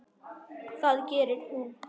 Það gerir hún.